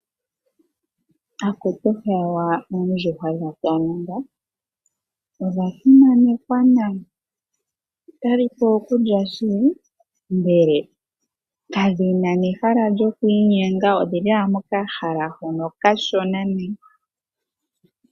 Akutu hewa oondjuhwa dha kalunga. Odha simanekwa nayi. Otadhipewa okulya shili ndele kadhina nehala lyokwiinyenga odhili owala mokahala hoka okashona nayi.